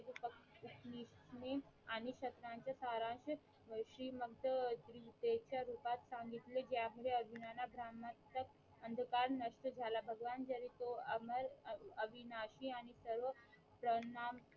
मी आणि सत्रांचा सारांश श्रीमंत श्री ममते च्या रूपात सांगितले ज्या मध्ये अर्जुनांना ब्राह्मणांच्या अंधकार नष्ट झाला भगवान जरी तो अमर अविनाशी आणि सर्व प्प्रणाने